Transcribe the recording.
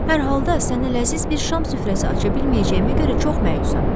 Hər halda sənə ləziz bir şam süfrəsi aça bilməyəcəyimə görə çox məyusam.